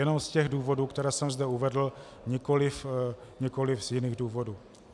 Jenom z těch důvodů, které jsem zde uvedl, nikoliv z jiných důvodů.